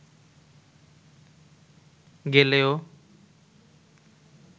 গেলেও